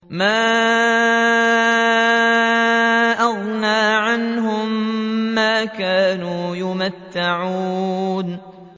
مَا أَغْنَىٰ عَنْهُم مَّا كَانُوا يُمَتَّعُونَ